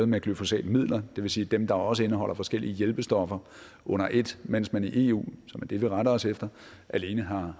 med glyfosatmidler det vil sige dem der også indeholder forskellige hjælpestoffer under ét mens man i eu som er det vi retter os efter alene har